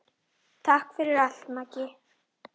Takk fyrir allt, Maggi.